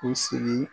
U sigi